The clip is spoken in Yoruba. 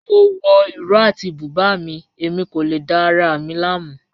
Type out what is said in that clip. Mo wọ ìró àti bùbá mi, ẹ̀mi kò lè dá ara mi lámu.